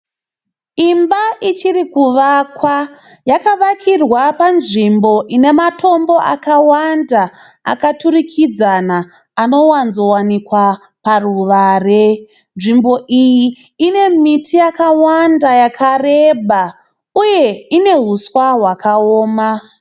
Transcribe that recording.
Imba ichirikuvakwa, yakavakirwa panzvimbo inematombo akawanda akaturikidzana inowadzowanikwa paruware. Nzvimbo iyi ine miti yakawanda yakareba, uye ine huswa hwakaoma.